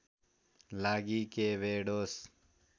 लागि केभेडोस